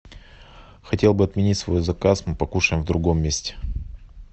хотел бы отменить свой заказ мы покушаем в другом месте